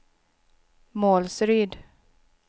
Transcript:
Målsryd